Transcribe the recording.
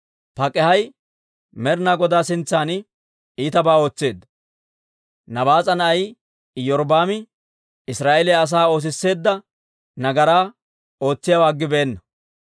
Pak'aahi Med'ina Godaa sintsan iitabaa ootseedda; Nabaas'a na'ay Iyorbbaami Israa'eeliyaa asaa oosisseedda nagaraa ootsiyaawaa aggibeenna.